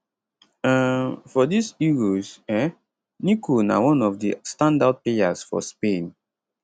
um for dis euros um nico na one of di standout players for spain